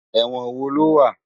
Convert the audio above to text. Èwòn wó ló wá?